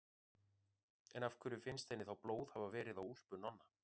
En af hverju finnst henni þá blóð hafa verið á úlpu Nonna?